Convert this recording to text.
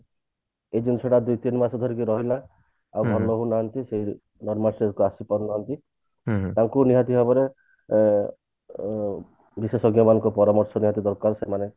ଏ ଜିନିଷ ଟା ଦିତିନିମାସ ଧରିକି ରହିଲା ଆଉ ଭଲ ହଉ ନାହାନ୍ତି ସେଇ normal stage କୁ ଆସିପାରୁ ନାହାନ୍ତି ତାଙ୍କୁ ନିହାତି ଭାବରେ ଅ ଉଁ ବିଶେଷଜ୍ଞ ମାନଙ୍କ ଦ୍ଵାରା ନିହାତି ଦରକାର ସେମାନେ